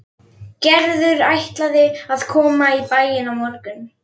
Gerður ætlaði að koma í bæinn á morgun.